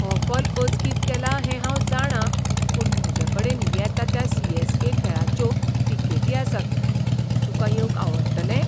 हो कॉल अचकीत केला हें हांव जाणां पूण म्हजेकडेन येता त्या सी. ऍस. के. खेळाच्यो तिकेटी आसात. तुका येवंक आवडटलें?